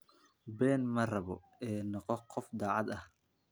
Been ma rabo ee noqo qof daacad ah.